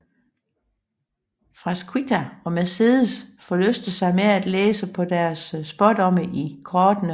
Frasquita og Mercedes forlyster sig med at læse deres spådomme i kortene